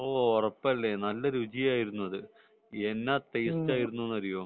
ഓഹ് ഉറപ്പല്ലേ നല്ല രുചിയായിരുന്നു അത് എന്നാ ടേസ്റ്റ് ആയിരുന്നു എന്നറിയോ